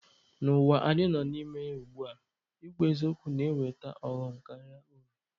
N'ụwa anyị nọ na ya ugbua, ịkwụ n'eziokwu na-eweta ọghọm karịa uru.